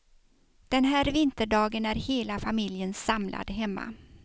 Den här vinterdagen är hela familjen samlad hemma.